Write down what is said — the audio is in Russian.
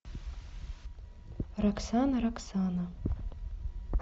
роксана роксана